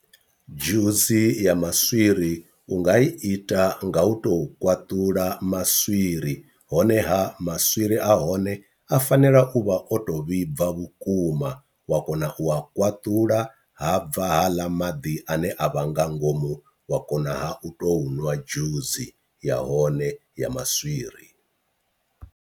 Dzhusi ya maswiri u nga ita nga u to kwaṱula maswiri honeha maswiri ahone a fanela u vha o to vhibva vhukuma wa kona u a kwaṱula ha bva haaḽa maḓi ane a vha nga ngomu wa kona ha u to nwa dzhusi ya hone ya maswiri.